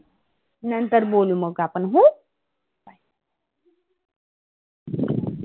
नंतर बोलु मग आपण हं.